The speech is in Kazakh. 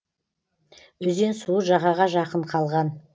өзен суы жағаға жақын қалған